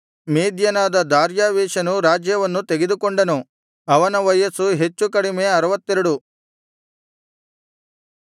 ಮೇದ್ಯನಾದ ದಾರ್ಯಾವೆಷನು ರಾಜ್ಯವನ್ನು ತೆಗೆದುಕೊಂಡನು ಅವನ ವಯಸ್ಸು ಹೆಚ್ಚು ಕಡಿಮೆ ಅರುವತ್ತೆರಡು